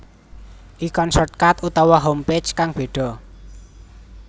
Ikon shortcut utawa homepage kang bedha